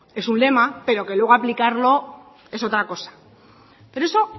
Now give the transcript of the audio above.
es un lema pero que luego aplicarlo es otra cosa pero eso